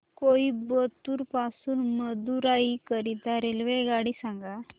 कोइंबतूर पासून मदुराई करीता रेल्वेगाडी सांगा